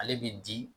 Ale bi di